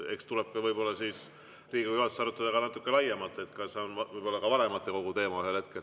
Eks meil tuleb seda Riigikogu juhatuses arutada natuke laiemalt, võib-olla on see ühel hetkel ka vanematekogu teema.